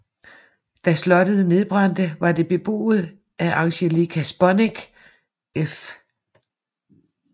Da slottet nedbrændte var det beboet af Angelica Sponneck f